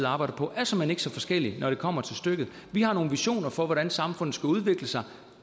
arbejder på er såmænd ikke så forskellig når det kommer til stykket vi har nogle visioner for hvordan samfundet skal udvikle sig